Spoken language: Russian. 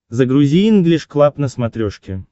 загрузи инглиш клаб на смотрешке